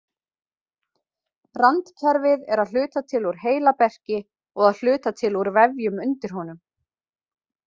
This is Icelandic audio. Randkerfið er að hluta til úr heilaberki og að hluta til úr vefjum undir honum.